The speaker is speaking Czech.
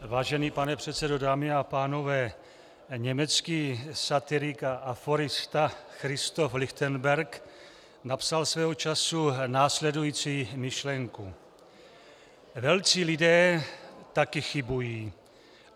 Vážený pane předsedo, dámy a pánové, německý satirik a aforista Christoph Lichtenberg napsal svého času následující myšlenku: "Velcí lidé taky chybují.